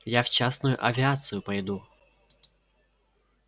я в частную авиацию пойду